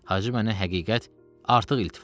Hacı mənə həqiqət artıq iltifat elədi.